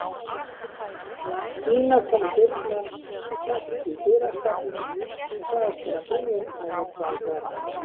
Ína kom í dyrnar, hékk í dyrastafnum og sagðist vera búin að leggja á borð.